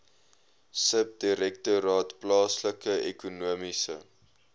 subdirektoraat plaaslike ekonomiese